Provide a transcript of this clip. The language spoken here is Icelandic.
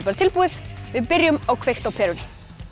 bara tilbúið við byrjum á kveikt á perunni